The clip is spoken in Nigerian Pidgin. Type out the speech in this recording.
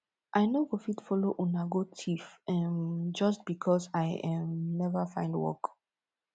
i no go fit follow una go thief um just because i um never find work